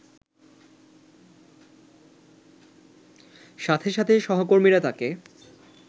সাথে সাথে সহকর্মীরা তাকে